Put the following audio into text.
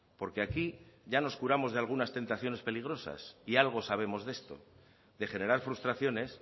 porque aquí ya nos curamos de algunas tentaciones peligrosas y algo sabemos de esto de generar frustraciones